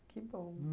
Que bom!